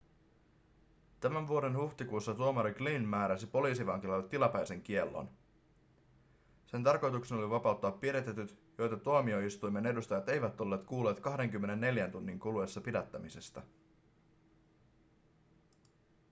tämän vuoden huhtikuussa tuomari glynn määräsi poliisivankilalle tilapäisen kiellon sen tarkoituksena oli vapauttaa pidätetyt joita tuomioistuimen edustajat eivät olleet kuulleet 24 tunnin kuluessa pidättämisestä